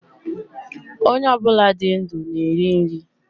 Ónyé obula dị ndụ na eri nri